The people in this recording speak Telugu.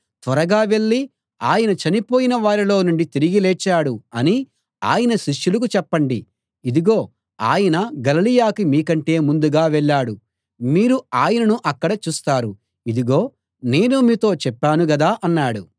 త్వరగా వెళ్ళి ఆయన చనిపోయిన వారిలో నుండి తిరిగి లేచాడు అని ఆయన శిష్యులకు చెప్పండి ఇదిగో ఆయన గలిలయకి మీకంటే ముందుగా వెళ్ళాడు మీరు ఆయనను అక్కడ చూస్తారు ఇదిగో నేను మీతో చెప్పాను గదా అన్నాడు